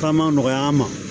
K'a ma nɔgɔya an ma